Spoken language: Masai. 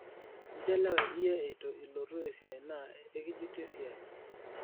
inchelewe iyie eitu ilotu esiai naa ekijuti esiai